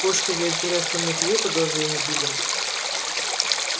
кошку ведь древком метлы по голове не били